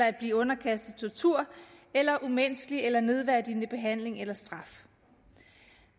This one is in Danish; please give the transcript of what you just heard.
at blive underkastet tortur eller umenneskelig eller nedværdigende behandling eller straf